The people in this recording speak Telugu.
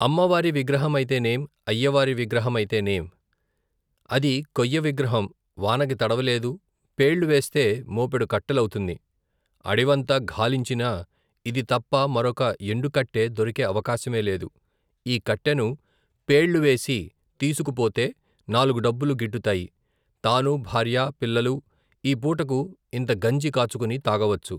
అమ్మవారి విగ్రహమైతేనేం, అయ్యవారి విగ్రహమైతేనేం ? అది కొయ్యవిగ్రహం , వానకు తడవలేదు, పేళ్ళువేస్తే మోపెడు కట్టెలవుతుంది. అడివంతా ఘాలించినా ఇది తప్ప మరొక ఎండుకట్టె దొరికే అవకాశమే లేదు. ఈ కట్టెను పేళ్ళువేసి తీసుకుపోతే నాలుగు డబ్బులు గిట్టుతాయి. తానూ భార్యా, పిల్లలూ ఈ పూటకు ఇంత గంజి కాచుకుని తాగవచ్చు.